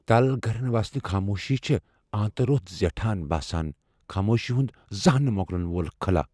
تل گرن واجینہِ خاموشی چھے ٲنتہٕ رۄس زیٹھان باسان ، خاموشی ہُند زانہہ نہٕ موكلن وول خلا ۔